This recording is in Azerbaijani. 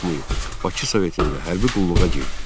Bakı Sovetində hərbi qulluğa girdi.